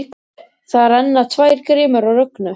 Það renna tvær grímur á Rögnu.